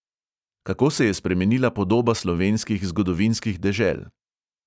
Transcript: Kako se je spremenila podoba slovenskih zgodovinskih dežel?